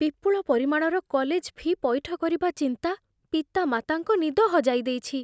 ବିପୁଳ ପରିମାଣର college fee' ପଇଠ କରିବା ଚିନ୍ତା ପିତାମାତାଙ୍କ ନିଦ ହଜାଇ ଦେଇଛି।